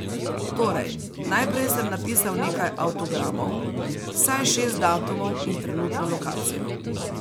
Torej, najprej sem napisal nekaj avtogramov, vsaj šest datumov in trenutno lokacijo.